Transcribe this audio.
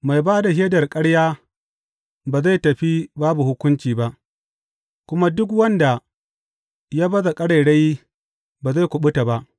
Mai ba da shaidar ƙarya ba zai tafi babu hukunci ba, kuma duk wanda ya baza ƙarairayi ba zai kuɓuta ba.